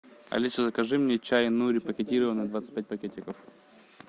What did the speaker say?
алиса закажи мне чай нури пакетированный двадцать пять пакетиков